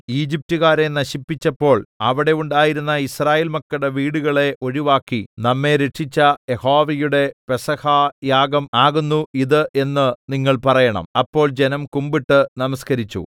ഈജിപ്റ്റുകാരെ നശിപ്പിച്ചപ്പോൾ അവിടെ ഉണ്ടായിരുന്ന യിസ്രായേൽ മക്കളുടെ വീടുകളെ ഒഴിവാക്കി നമ്മെ രക്ഷിച്ച യഹോവയുടെ പെസഹായാഗം ആകുന്നു ഇത് എന്ന് നിങ്ങൾ പറയണം അപ്പോൾ ജനം കുമ്പിട്ട് നമസ്കരിച്ചു